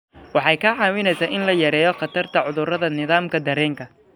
Waxay kaa caawinaysaa in la yareeyo khatarta cudurrada nidaamka dareenka.